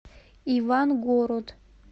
ивангород